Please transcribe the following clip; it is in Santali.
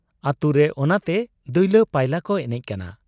ᱟᱹᱛᱩᱨᱮ ᱚᱱᱟᱛᱮ ᱫᱩᱭᱞᱟᱹ ᱯᱟᱭᱞᱟ ᱠᱚ ᱮᱱᱮᱡ ᱠᱟᱱᱟ ᱾'